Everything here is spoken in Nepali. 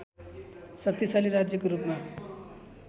शक्तिशाली राज्यको रूपमा